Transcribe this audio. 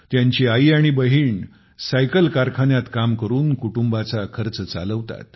त्यांची आई तसेच बहिणी सायकल कारखान्यात काम करून कुटुंबाचा खर्च चालवतात